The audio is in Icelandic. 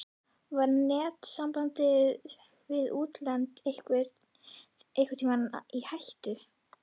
Var netsamband við útlönd einhvern tímann í hættu?